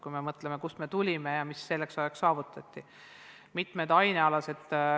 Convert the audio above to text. Tasub mõelda, kust me tulime ja mis on selle aja jooksul saavutatud.